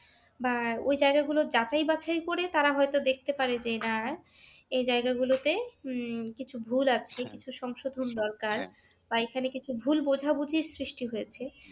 বা ঐ জায়াগা গুলো যাচাই বাছাই করে তারা হয়তো দেখতে পারে যে না এই জায়গাগুলোতে উম কিছু ভুল আছে কিছু সংশোধন দরকার বা এখানে কিছু ভুল বুঝাবুঝির সৃষ্টি হয়েছে